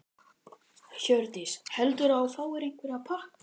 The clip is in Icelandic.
Hjördís: Heldurðu að þú fáir einhverja pakka?